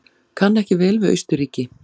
Kann ekki vel við Austurríki.